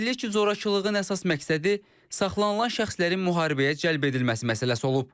Bildirilir ki, zorakılığın əsas məqsədi saxlanılan şəxslərin müharibəyə cəlb edilməsi məsələsi olub.